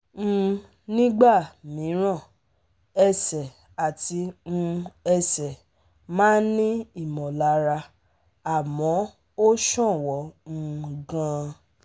um Nígbà mìíràn, ẹsẹ̀ àti um ẹsẹ̀ máa ń ní ìmọ̀lára àmọ́ ó ṣọ̀wọ́n um gan-an